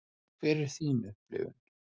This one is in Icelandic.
Hver er þín upplifun?